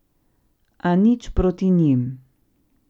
A nič proti njim.